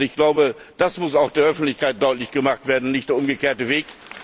Ich glaube, das muss auch der Öffentlichkeit deutlich gemacht werden, nicht der umgekehrte Weg.